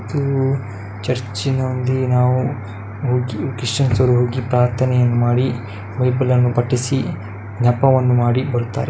ಇದು ಚರ್ಚ್‌ ನಲ್ಲಿ ನಾವು ಕ್ರಿಶ್ಚಿಯನ್‌ ರವರು ಹೋಗಿ ಪ್ರಾರ್ಥನೆ ಮಾಡಿ ಬೈಬಲ್‌ ನ್ನು ಪಠಿಸಿ ಜಪವನ್ನು ಮಾಡಿ ಬರುತ್ತಾರೆ.